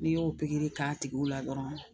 N'i y'o pikiri k'a tigiw la dɔrɔn